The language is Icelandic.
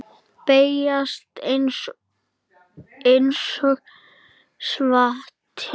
Beygist einsog hvati.